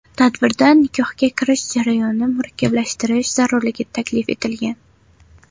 Tadbirda nikohga kirish jarayonini murakkablashtirish zarurligi taklif etilgan.